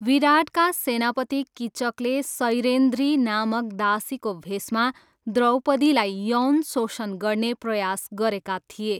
विराटका सेनापति किचकले सैरिन्ध्री नामक दासीको भेषमा द्रौपदीलाई यौन शोषण गर्ने प्रयास गरेका थिए।